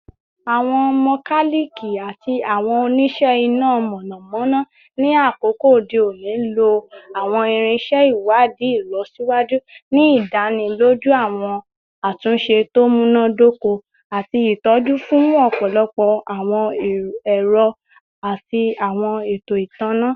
Awọn mokaliki ati awọn onise ina mọnamọna ni akoko ode oni lo awọn irinṣẹ iwadii ilọsiwaju, ni idaniloju awọn atunṣe to munadoko ati itọju fun ọpọlọpọ awọn ẹrọ ati awọn eto itanna